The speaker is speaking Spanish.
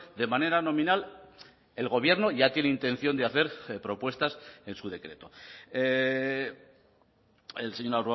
de manera nominal el gobierno ya tiene intención de hacer propuestas en su decreto el señor